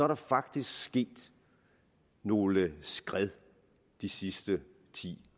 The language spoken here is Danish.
der faktisk sket nogle skred de sidste ti